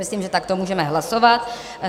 Myslím, že takto můžeme hlasovat.